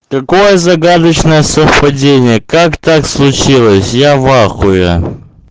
какое загадочное совпадение как так случилось я в ахуе